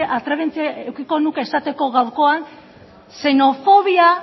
atrebentzia eukiko nuke esateko gaurkoan